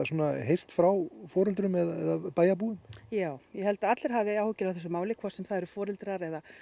heyrt frá foreldrum eða bæjarbúum já ég held að allir hafi áhyggjur af þessu máli hvort sem það eru foreldrar eða